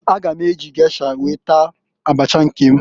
A ga m eji gesha wee taa abacha nke m.